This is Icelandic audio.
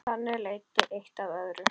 Þannig leiddi eitt af öðru.